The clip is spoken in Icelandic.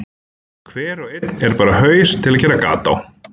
Hver og einn er bara haus til að gera gat á.